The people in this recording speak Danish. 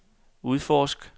udforsk